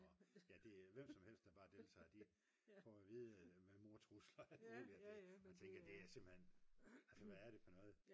ja det er hvem som helst der bare deltager de får at vide med mordtrusler og alt muligt at man tænker det er simpelthen altså hvad er det for noget